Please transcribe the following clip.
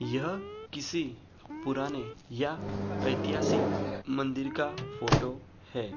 यह किसी पुराने या ऐतिहासिक मंदिर का फोटो है।